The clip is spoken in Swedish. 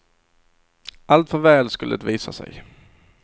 Alltför väl skulle det visa sig.